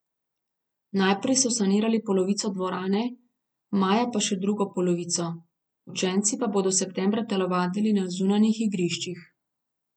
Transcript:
Najprej so sanirali polovico dvorane, maja pa še drugo polovico, učenci pa bodo septembra telovadili na zunanjih igriščih.